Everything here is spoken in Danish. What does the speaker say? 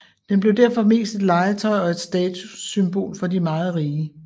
Den blev derfor mest et legetøj og et statussymbol for de meget rige